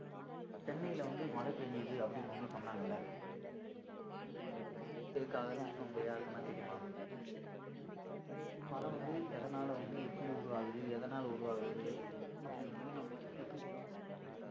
சென்னையில வந்து மழை பெஞ்சுது அப்படின்னு வந்து சொன்னாங்க இல்ல ஏன் எதனால இருக்காகன்னு உங்க யாருக்குன்னா தெரியுமா actually மழை வந்து எதனால வந்து எப்படி உருவாகுது எதனால உருவாகுது அப்படின்னு வந்து நம்ம எப்படி தெரிஞ்சுக்கலாம்